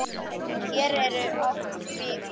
Hér eru oft hvít jól.